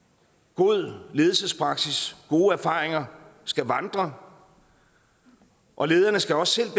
god ledelsespraksis og gode erfaringer skal vandre og lederne skal også